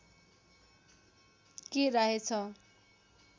के राय छ